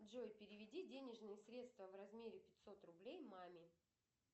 джой переведи денежные средства в размере пятьсот рублей маме